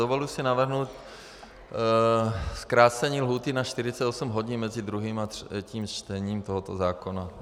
Dovoluji si navrhnout zkrácení lhůty na 48 hodin mezi druhým a třetím čtením tohoto zákona.